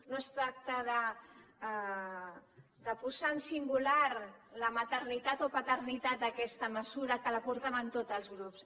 no es tracta de posar en singular la maternitat o paternitat d’aquesta mesura que la portaven tots els grups